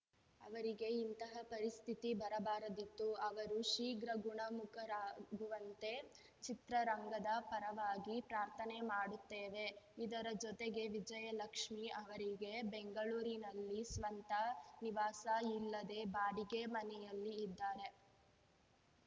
ಅವರಿಗೆ ಇಂತಹ ಪರಿಸ್ಥಿತಿ ಬರಬಾರದಿತ್ತು ಅವರು ಶೀಘ್ರ ಗುಣಮುಖರಾಗುವಂತೆ ಚಿತ್ರರಂಗದ ಪರವಾಗಿ ಪ್ರಾರ್ಥನೆ ಮಾಡುತ್ತೇವೆ ಇದರ ಜೊತೆಗೆ ವಿಜಯಲಕ್ಷ್ಮಿ ಅವರಿಗೆ ಬೆಂಗಳೂರಿನಲ್ಲಿ ಸ್ವಂತ ನಿವಾಸ ಇಲ್ಲದೇ ಬಾಡಿಗೆ ಮನೆಯಲ್ಲಿ ಇದ್ದಾರೆ